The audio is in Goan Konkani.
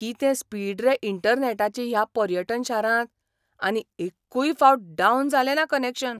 कितें स्पीड रे इंटरनॅटाची ह्या पर्यटन शारांत, आनी एक्कूय फावट डावन जालें ना कनॅक्शन!